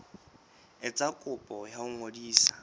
etsa kopo ya ho ngodisa